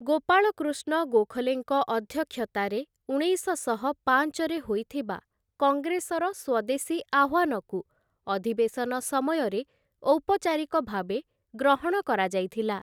ଗୋପାଳକୃଷ୍ଣ ଗୋଖଲେଙ୍କ ଅଧ୍ୟକ୍ଷତାରେ ଉଣେଇଶଶହ ପାଞ୍ଚ ରେ ହୋଇଥିବା କଙ୍ଗ୍ରେସର ସ୍ଵଦେଶୀ ଆହ୍ୱାନକୁ ଅଧିବେଶନ ସମୟରେ ଔପଚାରିକ ଭାବେ ଗ୍ରହଣ କରାଯାଇଥିଲା ।